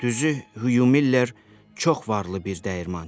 Düzü, Huyu Miller çox varlı bir dəyirmançı idi.